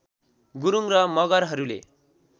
गुरुङ र मगरहरूले